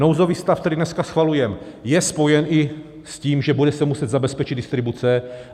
Nouzový stav, který dneska schvalujeme, je spojen i s tím, že se bude muset zabezpečit distribuce.